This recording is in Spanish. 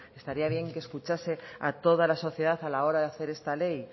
estaría bien que escuchase a toda la sociedad a la hora de hacer esta ley